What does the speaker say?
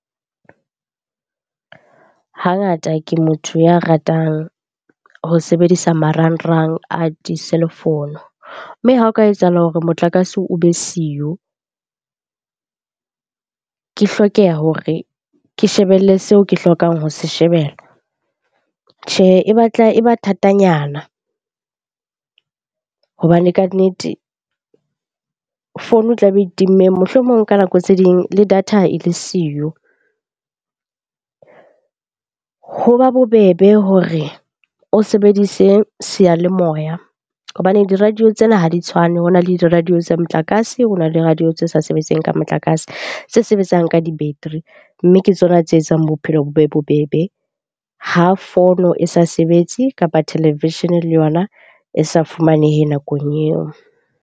Hangata ke motho ya ratang ho sebedisa marangrang a di-cellphone. Mme ha o ka etsahala hore motlakase o be siyo, ke hlokeha hore ke shebelle seo ke hlokang ho se shebella. Tjhe, e batla e ba thatanyana hobane kannete fono e tlabe e timme, mohlomong ka nako tse ding le data e le siyo. Hoba bobebe hore o sebedise seyalemoya hobane di-radio tsena ha di tshwane. Ho na le di-radio tsa motlakase, ho na le radio tse sa sebetseng ka motlakase tse sebetsang ka di-battery. Mme ke tsona tse etsang bophelo bo be bobebe ha fono e sa sebetse kapa televishene le yona e sa fumanehe nakong eo.